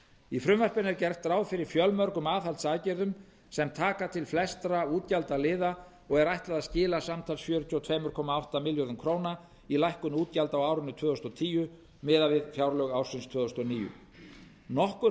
í frumvarpinu er gert ráð fyrir fjölmörgum aðhaldsaðgerðum sem taka til flestra útgjaldaliða og er ætlað að skila samtals fjörutíu og tvö komma átta milljörðum króna í lækkun útgjalda á árinu tvö þúsund og tíu miðað við fjárlög ársins tvö þúsund og níu nokkur